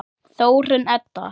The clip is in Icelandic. Þórunn Edda.